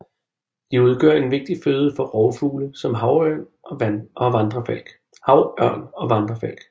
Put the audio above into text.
De udgør en vigtig føde for rovfugle som havørn og vandrefalk